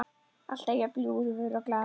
Alltaf jafn ljúfur og glaður.